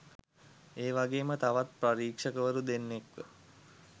ඒ වගේම තවත් පරීක්ෂකවරු දෙන්නෙක්ව